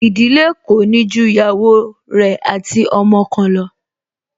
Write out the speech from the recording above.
Ìdílé kò ní ju ìyàwó rẹ̀ ati ọmọ kan lọ